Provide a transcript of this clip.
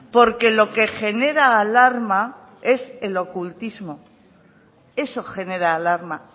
porque lo que genera alarma es el ocultismo eso genera alarma